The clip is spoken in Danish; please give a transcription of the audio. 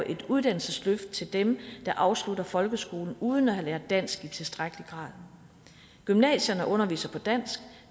et uddannelsesløft til dem der afslutter folkeskolen uden at have lært dansk i tilstrækkelig grad gymnasierne underviser på dansk